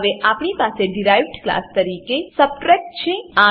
હવે આપણી પાસે ડીરાઇવ્ડ ક્લાસ તરીકે ક્લાસ સબટ્રેક્ટ સબટ્રેક્ટ છે